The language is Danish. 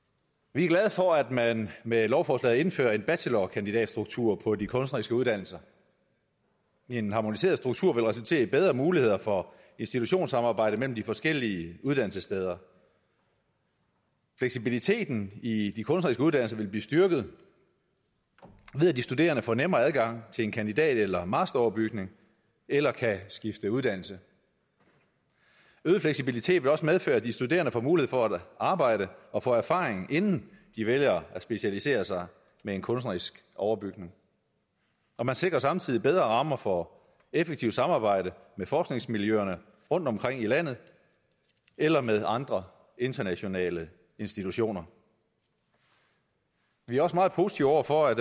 vi er glade for at man med lovforslaget indfører en bachelor og kandidatstruktur på de kunstneriske uddannelser en harmoniseret struktur vil resultere i bedre muligheder for institutionssamarbejde mellem de forskellige uddannelsessteder fleksibiliteten i de kunstneriske uddannelser vil blive styrket ved at de studerende får nemmere adgang til en kandidat eller masteroverbygning eller kan skifte uddannelse øget fleksibilitet vil også medføre at de studerende får mulighed for at arbejde og få erfaring inden de vælger at specialisere sig med en kunstnerisk overbygning og man sikrer samtidig bedre rammer for effektivt samarbejde med forskningsmiljøerne rundtomkring i landet eller med andre internationale institutioner vi er også meget positive over for at